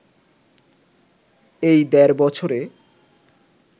এই দেড় বছরে